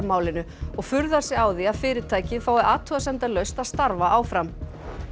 málinu og furðar sig á því að fyrirtækið fái athugasemdalaust að starfa áfram